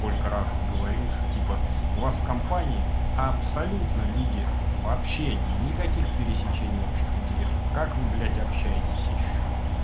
сколько раз говорил что типа у вас компании абсолютно люди вообще никаких пересечений общих интересов как вы блядь общаетесь ещё